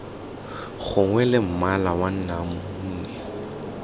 gongwe la mmala wa namune